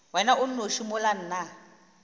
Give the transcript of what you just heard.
wena o nnoši mola nna